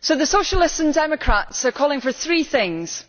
So the Socialists and Democrats are calling for three things